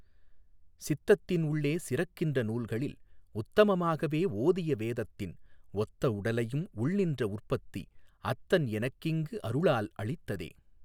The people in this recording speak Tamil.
சித்தத்தின் உள்ளே சிறக்கின்ற நூல்களில்உத்தம மாகவே ஓதிய வேதத்தின்ஒத்த உடலையும் உள்நின்ற உற்பத்திஅத்தன் எனக்குஇங்கு அருளால் அளித்ததே.